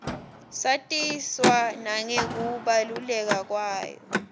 satiswa nangekubaluleka kwayo